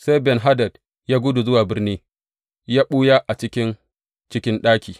Sai Ben Hadad ya gudu zuwa birni ya ɓuya a ciki cikin ɗaki.